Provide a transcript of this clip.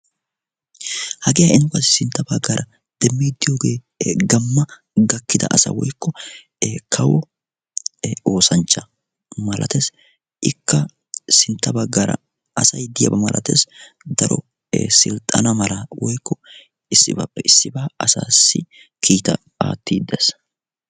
Hagee nu sintta baggaara demmidi de'iyoogee gamma gakkida asa woykko kawo oosanchcha malatees, ikka sintta baggaara asay diyaaba malatees. daro silxxana mala daro kiitaa asaassi aattiidi de'ees.